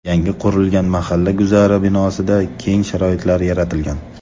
Yangi qurilgan mahalla guzari binosida keng sharoitlar yaratilgan.